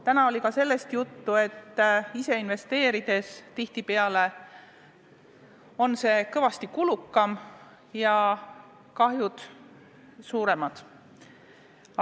Täna oli ka sellest juttu, et ise investeerimine on tihtipeale kõvasti kulukam ja kahjud suuremad.